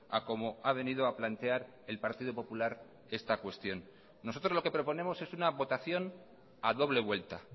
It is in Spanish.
a como ha venido a plantear el partido popular esta cuestión nosotros lo que proponemos es una votación a doble vuelta